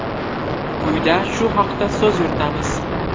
Quyida shu haqda so‘z yuritamiz.